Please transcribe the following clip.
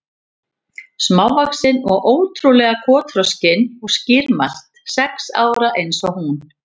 Smávaxin og ótrú- lega kotroskin og skýrmælt, sex ára eins og hún.